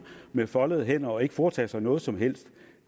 med foldede hænder og ikke foretage sig noget som helst